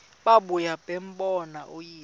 babuye bambone uyise